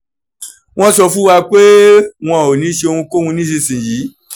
wọ́n sọ fún wa pé wọn ò ní ṣe ohunkóhun nísinsìnyí